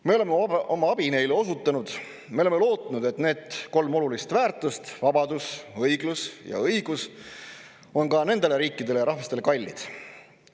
Me oleme oma abi neile osutanud, me oleme lootnud, et need kolm olulist väärtust – vabadus, õiglus ja õigus – on ka nendele riikidele ja rahvastele kallid.